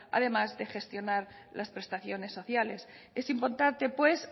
además de gestionar las prestaciones sociales es importante pues